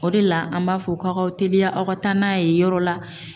O de la, an b'a fɔ k'aw k'a teliya aw ka taa n'a ye yɔrɔ la